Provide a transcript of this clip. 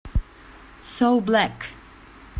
соу блэк